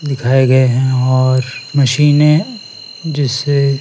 दिखाए गए हैं और मशीने जिसे--